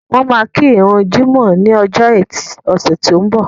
Wọ́n máa kí ìrun jímọ̀ ní ọjọ́ ẹtì ọ̀sẹ̀ tó ń bọ̀